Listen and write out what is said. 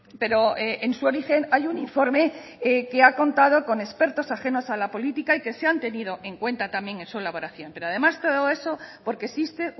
pero en su origen hay un informe que ha contado con expertos ajenos a la política y que se han tenido en cuenta también en su elaboración pero además todo esos porque existe